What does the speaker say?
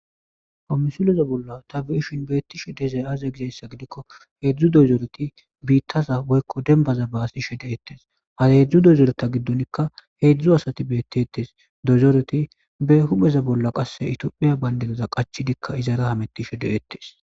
Komisuleza bolla ta beshin beettishe dezay aza egizeessa gidikko heedzdzu dozooreti biittaza woykko dembaza baasi shede ettes haa hedzdzu dozoreta giddonikka heedzdzu asati beetti ettes dozoreti be hupeza bolla qasse itiophiya bayndeleza qachidikka izara hametti shede ettes.